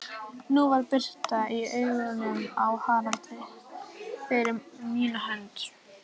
Nú var birta í augunum á Haraldi, fyrir mína hönd.